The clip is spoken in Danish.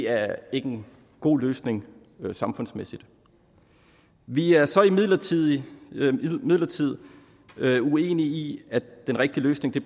er en god løsning samfundsmæssigt vi er så imidlertid imidlertid uenige i at den rigtige løsning